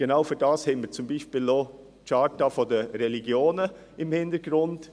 Genau dafür haben wir zum Beispiel die Charta der Religionen im Hinterkopf.